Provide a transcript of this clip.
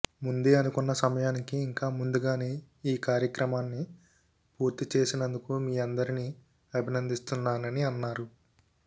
ముందే అనుకున్న సమయానికి ఇంకా ముందుగానే ఈ కార్యక్రమాన్ని పూర్తి చేసినందుకు మీ అందరిని అభినందిస్తున్నానని అన్నారు